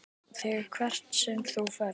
ÞIG HVERT SEM ÞÚ FERÐ.